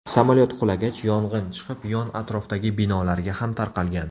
Samolyot qulagach, yong‘in chiqib, yon atrofdagi binolarga ham tarqalgan.